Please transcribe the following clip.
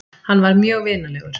Hann var mjög vinalegur.